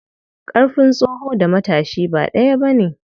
Ƙarfin tsoho da matashi ba ɗaya bane.